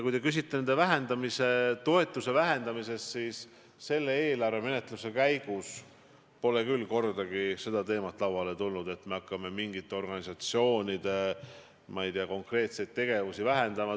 Kui te küsite nende toetuse vähendamise kohta, siis selle eelarvemenetluse käigus pole küll kordagi lauale tulnud see teema, et me hakkaksime mingite organisatsioonide konkreetseid tegevusi vähendama.